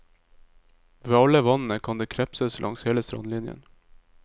Ved alle vannene kan det krepses langs hele strandlinjen.